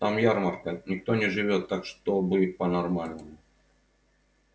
там ярмарка никто не живёт так чтобы по-нормальному